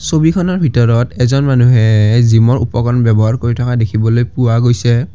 ছবিখনৰ ভিতৰত এজন মানুহে জিমৰ উপকৰণ ব্যৱহাৰ কৰি থকা দেখিবলৈ পোৱা গৈছে।